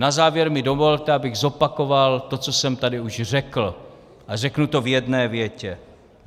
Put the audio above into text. Na závěr mi dovolte, abych zopakoval to, co jsem tady už řekl, a řeknu to v jedné větě.